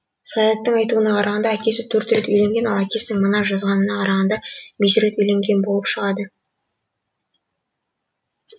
саяттың айтуына қарағанда әкесі төрт рет үйленген ал әкесінің мына жазғанына қарағанда бес рет үйленген болып шығады